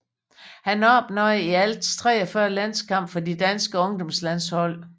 Han opnåede i alt 43 landskampe for de danske ungdomslandshold